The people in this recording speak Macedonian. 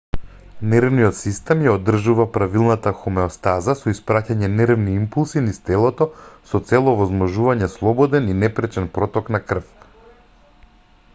нервниот систем ја одржува правилната хомеостаза со испраќање нервни импулси низ телото со цел овозможување слободен и непречен проток на крв